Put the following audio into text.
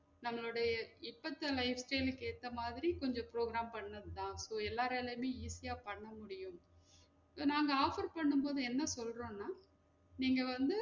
நம்மளுடைய இப்பத்த life style க்கு ஏத்த மாதிரி கொஞ்சம் program பண்ணது தான் so எல்லராலையுமே easy யா பன்ன முடியும் நாங்க offer பண்ணும் போது என்ன சொல்றோம்ன்னா நீங்க வந்து